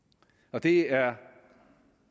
det er